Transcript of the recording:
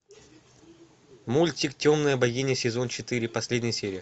мультик темная богиня сезон четыре последняя серия